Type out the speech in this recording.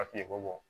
Papiye ko bɔ